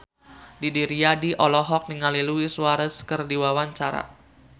Didi Riyadi olohok ningali Luis Suarez keur diwawancara